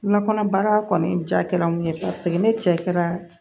Kunnakanabaa kɔni jara mun ye paseke ni cɛ kɛra